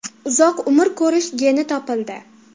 Uzoq umr ko‘rish geni topildi.